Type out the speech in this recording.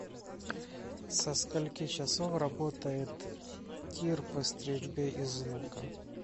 со скольки часов работает тир по стрельбе из лука